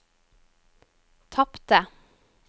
tapte